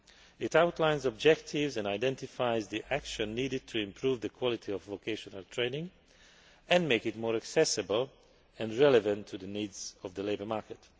It outlines objectives and identifies the action needed to improve the quality of vocational training and make it more accessible and relevant to the needs of the labour market.